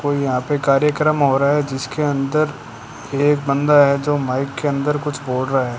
कोई यहां पर कार्यक्रम हो रहा है। जिसके अंदर एक बंदा है जो माइक के अंदर कुछ बोल रहा है।